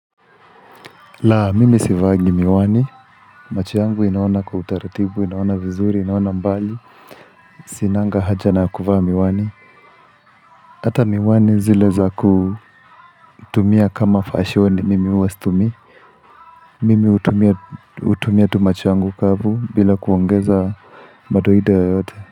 La, mimi sivangi miwani, macho yangu inaona kwa utaratibu, inaona vizuri, inaona mbali Sinanga haja na kuvaa miwani Hata miwani zile za kutumia kama fashion mimi huwa situmii Mimi hutumia tu macho yangu kavu bila kuongeza madoido yoyote.